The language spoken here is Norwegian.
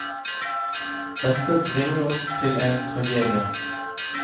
Dette bringer oss til en tragedie.